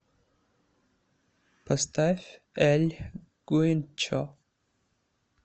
поставь эль гуинчо